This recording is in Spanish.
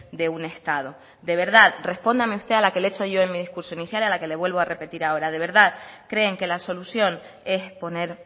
de un estado de verdad respóndame usted a la que le he hecho en mi discurso inicial y a la que le vuelvo a repetir ahora de verdad creen que la solución es poner